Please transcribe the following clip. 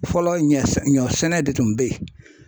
Fɔlɔ ɲɛ ɲɔsɛnɛ de tun be ye.